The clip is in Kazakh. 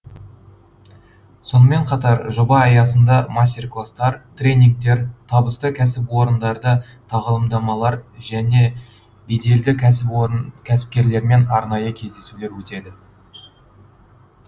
сонымен қатар жоба аясында мастер кластар тренингтер табысты кәсіпорындарда тағылымдамалар және беделді кәсіпкерлермен арнайы кездесулер өтеді